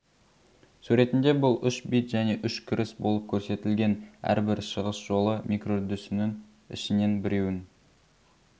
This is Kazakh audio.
суретінде бұл үш бит және үш кіріс болып көрсетілген әр бір шығыс жолы микроүрдісісінің ішінен біреуін